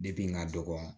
Depi n ka dɔgɔnɔ